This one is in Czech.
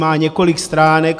Má několik stránek.